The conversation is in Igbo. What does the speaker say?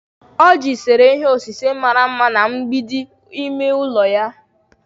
Oji sere ihe osise mara mma na mgbidi ime ụlọ ya.